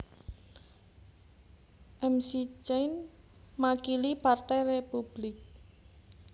McCain makili Partai Republik